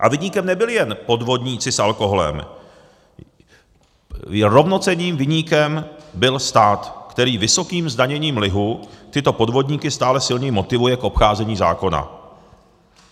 A viníkem nebyli jen podvodníci s alkoholem, rovnocenným viníkem byl stát, který vysokým zdaněním lihu tyto podvodníky stále silněji motivuje k obcházení zákona.